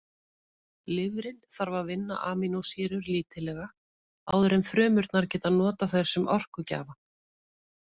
Lifrin þarf að vinna amínósýrur lítillega áður en frumurnar geta notað þær sem orkugjafa.